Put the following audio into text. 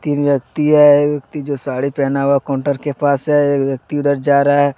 तीन व्यक्ति हैं। एक व्यक्ति जो साड़ी पहना हुआ है काउंटर के पास है। एक व्यक्ति उधर जा रहा है ।